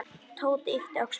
Tóti yppti öxlum.